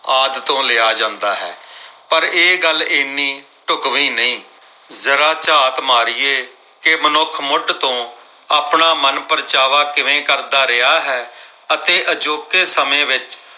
ਆਦਿ ਤੋਂ ਲਿਆ ਜਾਂਦਾ ਹੈ। ਪਰ ਇਹ ਗੱਲ ਇੰਨੀ ਢੁਕਵੀ ਨਹੀਂ ਜਰਾ ਝਾਤ ਮਾਰੀਏ ਕਿ ਮਨੁੱਖ ਮੁੱਢ ਤੋਂ ਆਪਣਾ ਮਨਪ੍ਰਚਾਵਾ ਕਿਵੇਂ ਕਰਦਾ ਰਿਹਾ ਹੈ ਅਤੇ ਅਜੋਕੇ ਸਮੇਂ ਵਿੱਚ